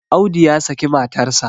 Audu ya saki matarsa.